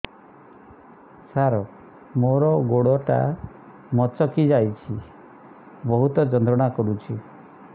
ସାର ମୋର ଗୋଡ ଟା ମଛକି ଯାଇଛି ବହୁତ ଯନ୍ତ୍ରଣା କରୁଛି